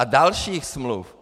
A další smlouvy.